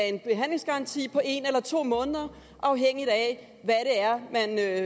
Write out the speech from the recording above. en behandlingsgaranti på en eller to måneder afhængigt af